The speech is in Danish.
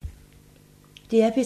DR P3